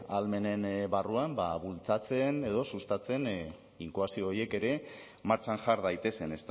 ahalmenen barruan bultzatzen edo sustatzen inkoazio horiek ere martxan jar daitezen